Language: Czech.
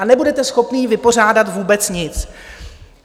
A nebudete schopni vypořádat vůbec nic.